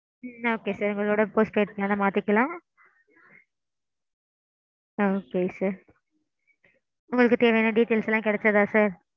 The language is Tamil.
okay sir உங்களோட sim postpaid டா மாத்திக்கலாம். okay sir. உங்களுக்கு தேவையான details எல்லாம் கெடச்சிதா sir?